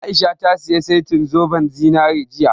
A'isha ta saya setin zoben zinari jiya